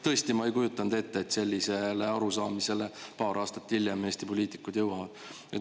Tõesti, ma ei kujutanud ette, et sellisele arusaamisele paar aastat hiljem Eesti poliitikud jõuavad.